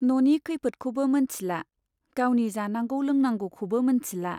न'नि खैफोदखौबो मोनथिला , गावनि जानांगौ लोंनांगौखौबो मोनथिला।